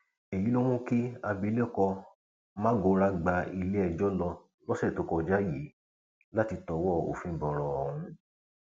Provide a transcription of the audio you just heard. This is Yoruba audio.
èyí ló mú kí abilékọ magora gba iléẹjọ lọ lọsẹ tó kọjá yìí láti tọwọ òfin bọrọ ọhún